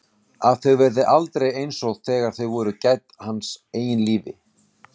Að þau verði aldrei einsog þegar þau voru gædd hans eigin lífi.